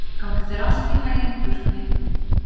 Gangi þér allt í haginn, Burkni.